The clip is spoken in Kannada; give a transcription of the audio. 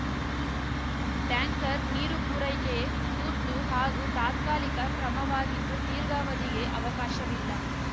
ಟ್ಯಾಂಕರ್‌ ನೀರು ಪೂರೈಕೆ ತುರ್ತು ಹಾಗೂ ತಾತ್ಕಾಲಿಕ ಕ್ರಮವಾಗಿದ್ದು ದೀರ್ಘಾವಧಿಗೆ ಅವಕಾಶವಿಲ್ಲ